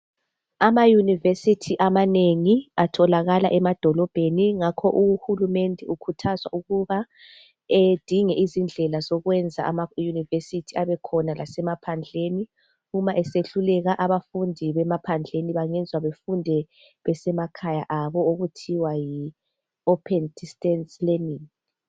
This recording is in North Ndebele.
Ama yunivesithi amanengi atholakala emadolobheni ngakho uhulumende ukhuthazwa ukuba edinge izindlela zokwenza ama yunivesithi abekhona lasemaphandleni, uma esehluleka abafundi bemaphandleni bayenzwe bafunde besemakhaya abo okuthiwa yi open distance learning.